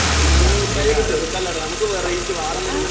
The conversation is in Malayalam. മഞ്ഞ മുട്ടായി ഒക്കെ ചെറുതല്ലേടാ നമുക്ക് വെറൈറ്റീ വേറെ എന്തെങ്കിലും കൊടുക്കണം